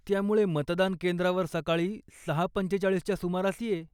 त्यामुळे मतदानकेंद्रावर सकाळी सहा पंचेचाळीसच्या सुमारास ये.